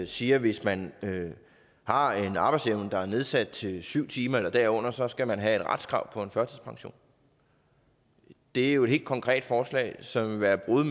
siger at hvis man har en arbejdsevne der er nedsat til syv timer eller derunder så skal man have et retskrav på en førtidspension det er jo et helt konkret forslag som vil være et brud